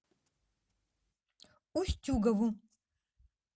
устюгову